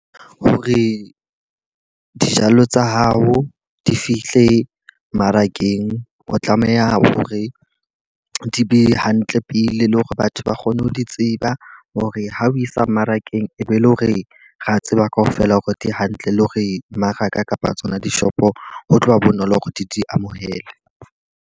Hore dijalo tsa hao di fihle mmarakeng, o tlameha hore di be hantle pele le hore batho ba kgone ho di tseba. Hore ha o isa mmarakeng e be le hore re a tseba ka ofela hore di hantle le hore mmaraka kapa tsona dishopo, ho tloha bonolo hore di di amohele.